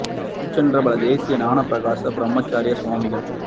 Tiruchitrambala Desika Gnanaprakasa Paramacharya Swamigal